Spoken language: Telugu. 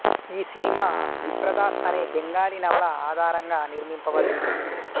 ఈ సినిమా విప్రదాస్ అనే బెంగాలీ నవల ఆధారంగా నిర్మింపబడింది